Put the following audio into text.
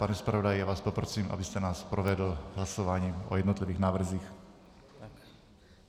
Pane zpravodaji, já vás poprosím, abyste nás provedl hlasováním o jednotlivých návrzích.